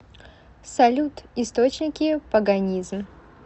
салют источники паганизм